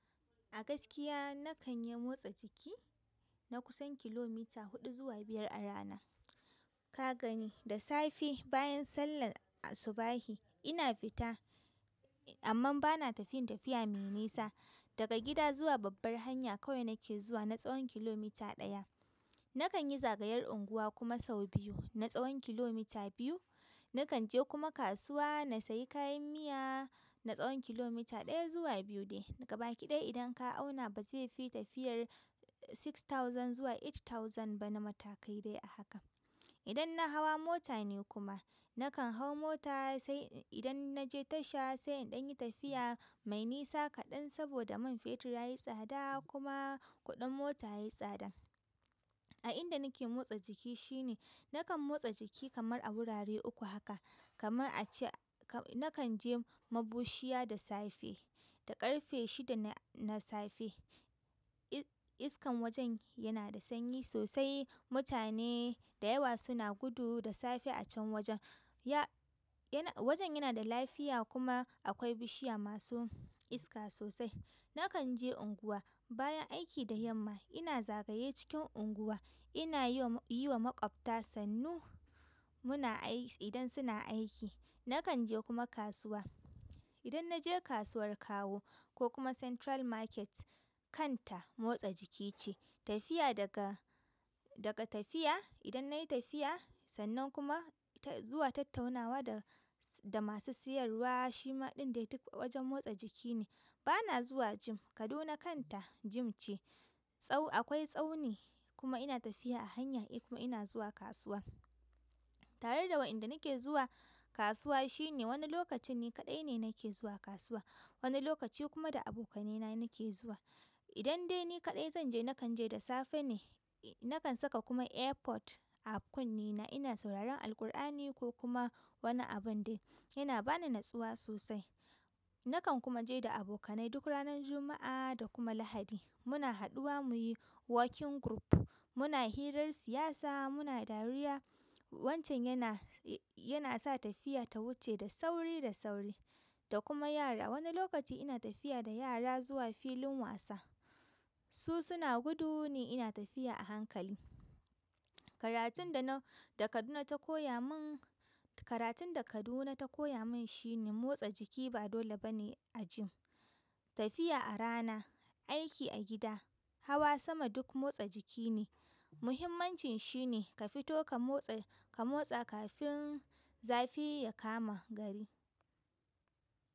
A gaskiya na kan yi motsa jiki na kusan kilomita huɗu zuwa biyar a rana. Ka gani, da safe bayan sallar asubahi ina fita amman ba na tafin tafiya mai nisa. Daga gida zuwa babbar hanya kawai nake zuwa na tsawon kilomita ɗaya. Na kan yi zagayar unguwa kuma sau biyu na tsawon kilomita biyu. Na kan je kuma kasuwa na sayi kayan miya na tsawon kilomita ɗaya zuwa biyu ne. Gaba ki ɗaya idon ka auna bazaikai tafiyar six thousand zuwa eight thousand na matakai dai a hakan idan na hawa mota ne kuma, na kan hau mota sai idan na je tasha sai inɗan yi tafiya mai nisa kaɗan saboda man fetur yayi tsada kuma kuɗin mota yayi tsada. A inda nake motsa jiki shine, na kan motsa jiki kamar a wurare uku haka. Kamar a ce na kan je mabushiya da safe da ƙarfe shida na safe. Iskan wajen yana da sanyi sosai. Mutane da yawa suna gudu da safe a can wajen. Ya, yana, wajen yana da lafiya kuma akwai bishiya masu iska sosai. Na kan je unguwa bayan aiki da yamma ina zagaye cikin unguwa. Ina yin, yiwa maƙwabta sannu muna ai, idan suna aiki. Na kan je kuma kasuwa. Idan na je kasuwar kawo ko kuma Central Market, kanta motsa jiki ce. Tafiya daga, daga tafiya, idan nayi tafiya sannan kuma zuwa tattaunawa da, da masu siyarwa shima ɗin dai duk wajen motsa jiki ne. Ba na zuwa gym. Kaduna kanta gym ce. Tsau, akwai tsauni kuma ina tafiya a hanya kuma ina zuwa kasuwa. Tare da wa inda nake zuwa kasuwa shine, wani lokacin ni kaɗai ne nake zuwa kasuwa, wani lokaci kuma da abokanaina nake zuwa. Idan dai ni kaɗai zan je, na kan je da safe ne. Na kan saka kuma airpod a kunnena ina sauraron Alƙur'ani ko kuma wani abun dai. Yana ba ni natsuwa sosai. Na kan kuma je da abokanai duk ranar Juma'a da kuma Lahadi. Muna haɗuwa muyi walking group, muna hirar siyasa, muna dariya. Wancan yana, yana sa tafiya ta wuce da sauri da sauri. Da kuma yara. Wani lokaci ina tafiya da yara zuwa filin wasa. Su suna gudu ne ina tafiya a hankali. Karatun da na, da Kaduna ta koya min, karatun da Kaduna ta koya min shine motsa jiki ba dole ba ne a gym. Tafiya a rana, aiki a gida, hawa sama duk motsa jiki ne. Muhimmancin shi ne ka fito ka motsa, ka motsa kafin zafi ya kama gari.